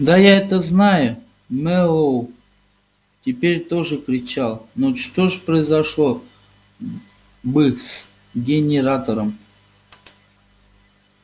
да я это знаю мэллоу теперь тоже кричал но что произошло бы с генератором